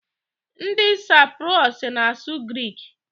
Ndị Saiprus na-asụ grik.